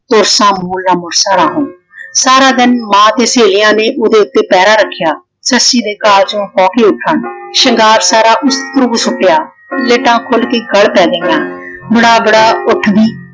ਤੁਰਸਾ ਮੂਲ ਨਾ ਮੁਰਸੋਂ ਰਾਹੋਂ। ਸਾਰਾ ਦਿਨ ਮਾਂ ਤੇ ਸੇਹਲੀਆਂ ਨੇ ਉਹਦੇ ਉੱਤੇ ਪਹਿਰਾ ਰੱਖਿਆ। ਸੱਸੀ ਦੇ ਕਾਲਜੋ ਹੌਂਕੇ ਉੱਠਣ। ਸ਼ਿੰਗਾਰ ਸਾਰਾ ਉਸ ਉਪਰੋ ਸੁੱਟਿਆ। ਲੱਟਾਂ ਖੁੱਲ ਕੇ ਗੱਲ ਪੈ ਗਈਆਂ ਉੱਠਦੀ।